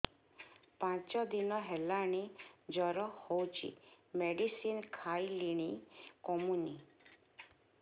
ପାଞ୍ଚ ଦିନ ହେଲାଣି ଜର ହଉଚି ମେଡିସିନ ଖାଇଲିଣି କମୁନି